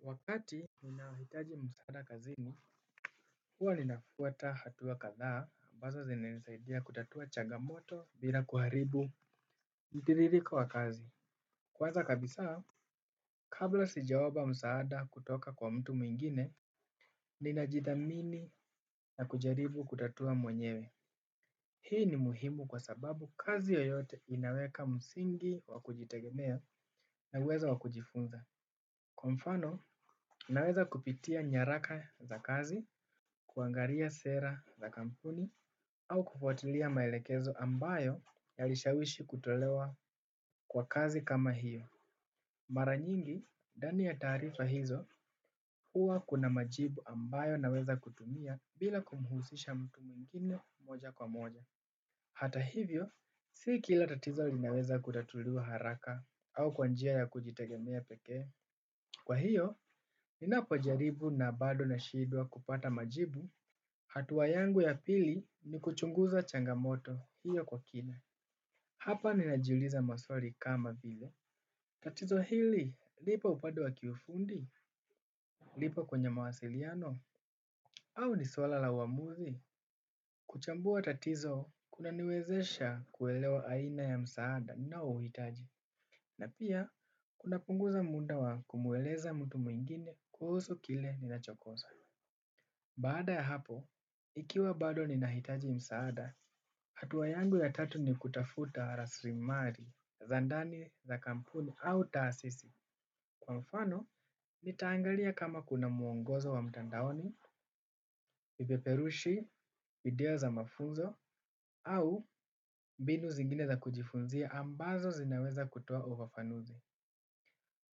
Wakati minahitaji msaada kazini, huwa ninafuata hatuwa kathaa, ambazo zinaisaidia kutatua chagamoto bila kuharibu. Mtiririko wa kazi. Kwanza kabisa, kabla sijawapa msaada kutoka kwa mtu mwingine, ninajidhamini na kujaribu kutatua mwenyewe. Hii ni muhimu kwa sababu kazi yoyote inaweka msingi wa kujitegemea na uwezo wa kujifunza. Kwa mfano, naweza kupitia nyaraka za kazi, kuangalia sera za kampuni, au kufuatilia maelekezo ambayo yalishawishi kutolewa kwa kazi kama hiyo. Mara nyingi, ndani ya taarifa hizo, hua kuna majibu ambayo naweza kutumia bila kumuhusisha mtu mingine moja kwa moja. Hata hivyo, si kila tatizo linaweza kutatulua haraka au kwa njia ya kujitegemea pekee. Kwa hiyo, ninapojaribu na bado nashidwa kupata majibu, hatua yangu ya pili ni kuchunguza changamoto hiyo kwa kina. Hapa ninajuliza maswali kama vile. Tatizo hili, lipo upande wa kiufundi, lipo kwenye mawasiliano, au ni swala la uamuzi. Kuchambua tatizo, kunaniwezesha kuelewa aina ya msaada ninaouhitaji. Na pia, kunapunguza muda wa kumweleza mtu mwingine kuhusu kile ninachokosa. Baada ya hapo, ikiwa bado ninahitaji msaada, hatua yangu ya tatu ni kutafuta raslimali, za ndani, za kampuni, au taasisi. Kwa mfano, nitaangalia kama kuna mwongozo wa mtandaoni, vipeperushi, video za mafunzo, au mbinu zingine za kujifunzia ambazo zinaweza kutua uwafanuzi.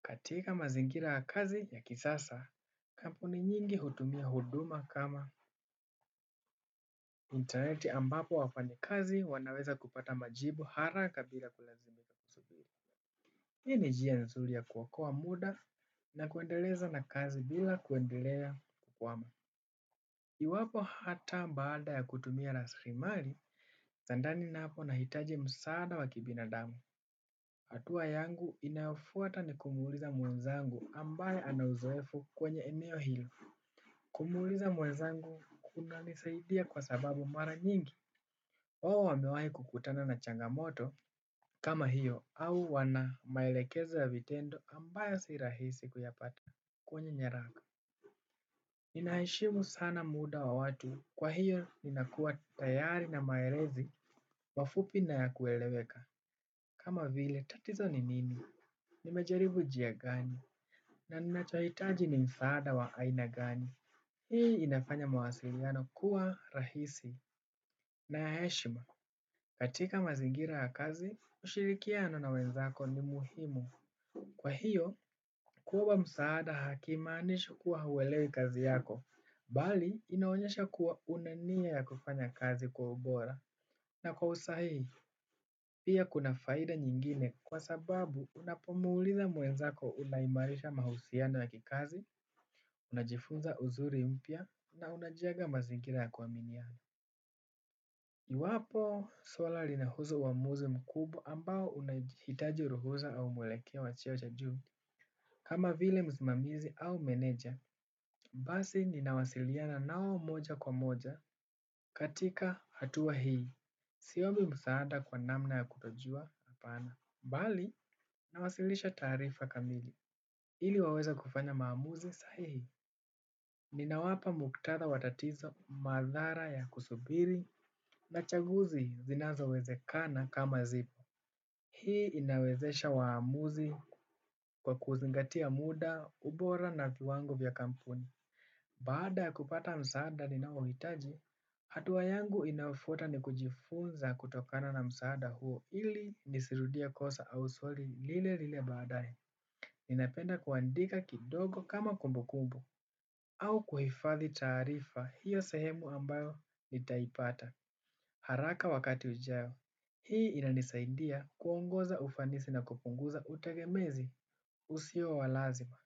Katika mazingira ya kazi ya kisasa, kampuni nyingi hutumia huduma kama intaneti ambapo wafanyikazi wanaweza kupata majibu haraka bila kulazimika kusubiri. Hii ni njia nzuri ya kuokoa muda na kuendeleza na kazi bila kuendelea kukwama. Iwapo hata baada ya kutumia lasrimari, za ndani napo nahitaji msaada wa kibinadamu. Hatua yangu inayofuata ni kumuuliza mwenzangu ambaye ana uzoefu kwenye eneo hilo. Kumuuliza mwenzangu kunanisaidia kwa sababu mara nyingi hua wamewaikukutana na changamoto kama hiyo au wana maelekeza ya vitendo ambayo si rahisi kuyapata kwenye nyaraka. Ninaheshimu sana muda wa watu kwa hiyo ninakua tayari na maelezi kwa ufupi na ya kueleweka kama vile tatizo ni nini. Nimejaribu njia gani, na ninachohitaji ni msaada wa aina gani hii inafanya mawasiliano kuwa rahisi na ya heshima. Katika mazingira ya kazi, ushirikiano na wenzako ni muhimu. Kwa hiyo, kuomba msaada hakumaanishi kuwa huwelei kazi yako. Bali inaonyesha kuwa una nia ya kufanya kazi kwa ubora na kwa usahihi pia kuna faida nyingine kwa sababu unapomuuliza muenzako unaimarisha mahusiana ya kikazi, unajifunza uzuri mpya na unajenga mazingira ya kuaminiana. Iwapo swala linahusu uamuzi mkubwa ambao unahitaji ruhusa au mwelekeo wa cheo cha juu. Kama vile mzimamizi au meneja, basi ninawasiliana nao moja kwa moja katika hatuwa hii. Siombi msaada kwa namna ya kutojua, apana. Bali, nawasilisha taarifa kamili. Ili waweze kufanya maamuzi sahihi. Ninawapa muktadha wa tatizo, madhara ya kusubiri, na chaguzi zinazo wezekana kama zipo. Hii inawezesha waamuzi kuzingatia muda, ubora na kiwangu vya kampuni. Baada kupata msaada ninauhitaji, hatua yangu inayofuata ni kujifunza kutokana na msaada huo ili nisirudie kosa au swali lile lile baadae. Ninapenda kuandika kidogo kama kumbukumbu au kuhifathi taarifa hiyo sehemu ambayo nitaipata haraka wakati ujao. Hii inanisaindia kuongoza ufanisi na kupunguza utagemezi usio wa lazima.